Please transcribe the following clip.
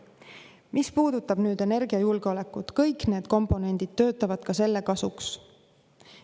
Mis puudutab energiajulgeolekut, siis kõik need komponendid töötavad selle kasuks.